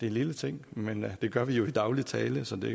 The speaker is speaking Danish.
en lille ting men det gør vi jo i daglig tale så det